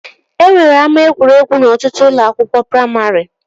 E nwere ama egwuregwu n'ọtụtụ ụlọ akwụkwọ praimarị